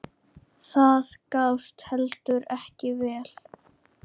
Það gafst heldur ekki vel.